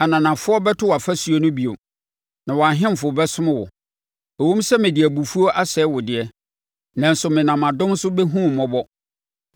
“Ananafoɔ bɛto wʼafasuo no bio, na wɔn ahemfo bɛsom wo. Ɛwom sɛ mede abufuo asɛe wo deɛ, nanso menam adom so bɛhunu wo mmɔbɔ.